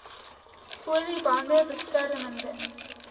olie bande beskermende